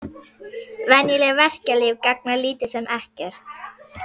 Venjuleg verkjalyf gagna lítið sem ekkert.